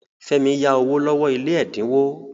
Fẹ́mi yá owó lọ́wọ́ ilé ẹ̀dínwó.